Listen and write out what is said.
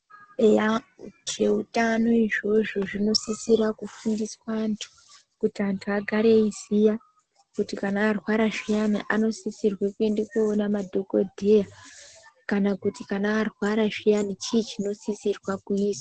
Eya zveutano izvozvo zvinosisira kufundiswa antu kuti anthu agare veiziya kuti varwara zviyani vanofana koona madhokodheya kana kuti arwara zviyani chiinyi chinosisira kuizwa.